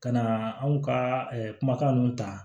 Ka na anw ka kumakan ninnu ta